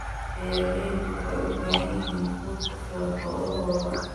Beeraleydu waxay u baahan yihiin quud ku filan xoolahooda.